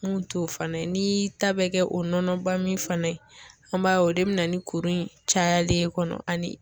Mun t'o fana ye n'i y'i ta bɛ kɛ o nɔnɔ ba min fana ye an b'a ye o de be na ni kuru in cayali ye kɔnɔ ani